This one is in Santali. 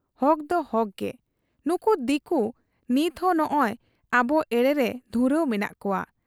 ᱦᱚᱠᱫᱚ ᱦᱚᱠ ᱜᱮ ᱾ ᱱᱩᱠᱩ ᱫᱤᱠᱩ ᱱᱤᱛᱦᱚᱸ ᱱᱚᱸᱜᱻᱚᱭ ᱟᱵᱚ ᱮᱲᱮᱨᱮ ᱫᱷᱩᱨᱟᱹᱣ ᱢᱮᱱᱟᱜ ᱠᱚᱣᱟ ᱾